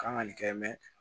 Kan ka nin kɛ mɛ